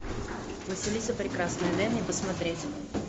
василиса прекрасная дай мне посмотреть